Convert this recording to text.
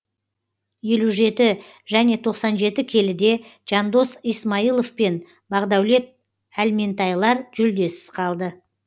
елу жеті және тоқсан жеті келіде жандос исмайлов пен бағдаулет әлментайлар жүлдесіз қалды